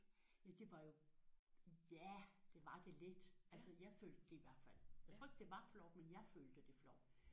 Ja det var jo ja det var det lidt altså jeg følte det i hvert fald. Jeg tror ikke det var flovt men jeg følte det flovt